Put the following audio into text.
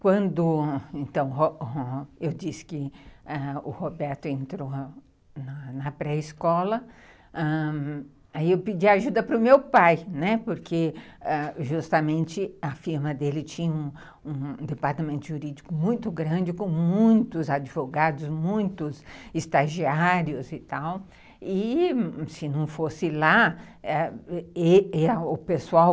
Quando eu disse que o Roberto entrou na pré-escola, ãh, aí eu pedi ajuda para o meu pai, porque justamente a firma dele tinha um um departamento jurídico muito grande, com muitos advogados, muitos estagiários e tal, e se não fosse lá, ãh, o pessoal